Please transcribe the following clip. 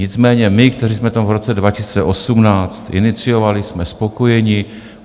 Nicméně my, kteří jsme v tom roce 2018 iniciovali, jsme spokojeni.